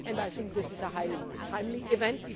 of March. I think this is a highly timely